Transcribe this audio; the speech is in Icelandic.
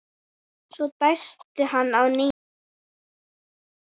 Svo dæsti hann að nýju.